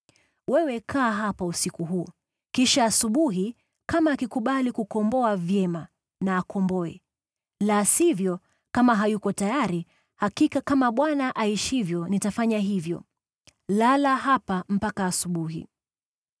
Wewe kaa hapa usiku huu, kisha asubuhi kama akikubali kukomboa, vyema na akomboe. La sivyo kama hayuko tayari, hakika kama Bwana aishivyo nitafanya hivyo. Lala hapa mpaka asubuhi.”